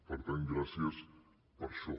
per tant gràcies per això